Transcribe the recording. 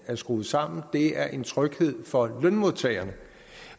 er skruet sammen det er en tryghed for lønmodtagerne